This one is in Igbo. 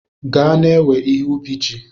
Gaa na-ewe ihe ubi ji!